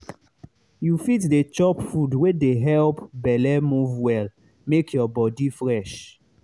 you fit dey chop food wey dey help belle move well make your body fresh.